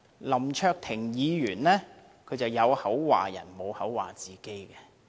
林卓廷議員只批評別人，不批評自己。